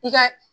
I ka